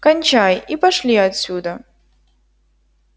кончай и пошли отсюда